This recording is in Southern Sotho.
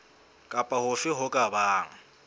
kapa hofe ho ka bang